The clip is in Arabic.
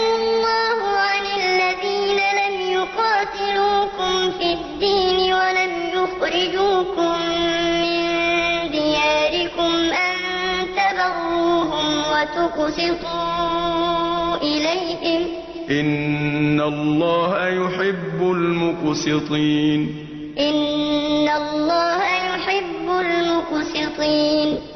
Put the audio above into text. إِنَّ اللَّهَ يُحِبُّ الْمُقْسِطِينَ لَّا يَنْهَاكُمُ اللَّهُ عَنِ الَّذِينَ لَمْ يُقَاتِلُوكُمْ فِي الدِّينِ وَلَمْ يُخْرِجُوكُم مِّن دِيَارِكُمْ أَن تَبَرُّوهُمْ وَتُقْسِطُوا إِلَيْهِمْ ۚ إِنَّ اللَّهَ يُحِبُّ الْمُقْسِطِينَ